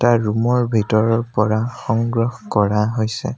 এটা ৰূম ৰ ভিতৰৰ পৰা সংগ্ৰহ কৰা হৈছে।